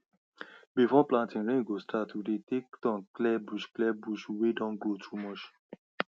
before planting rain go start we dey take turn clear bush clear bush wey don grow too much